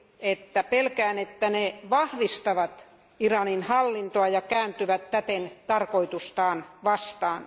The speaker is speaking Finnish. että pelkään niiden vahvistavan Iranin hallintoa ja kääntyvän täten tarkoitustaan vastaan.